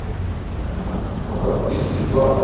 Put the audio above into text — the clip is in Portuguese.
Ah então, agora, disso que vocês gostam?